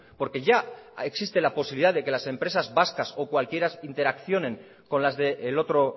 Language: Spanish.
porque ya existe la posibilidad de que las empresas vascas o cualquiera interaccionen con las del otro